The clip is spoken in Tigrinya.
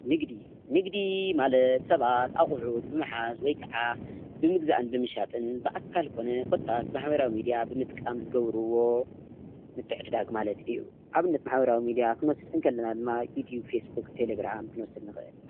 ንግዲ ንግዲ ማለንግዲ:‑ባት አቁሑት ብምሓዝ ወይከዓ ብምግዛእን ብምሻጥን ብኣካል ኮነ ኮታስ ብማሕበራዊ ሚድያ ብምጥቃም ዝገብርዎ ምትዕድዳግ ማለት እዩ። ኣብነት ማሕበራዊ ሚድያ ክንወስድ ከለና ድማ ከም ዩቲብ ፣ፌስቡክ ፣ቴሌግራም ክንወስድ ንክእል።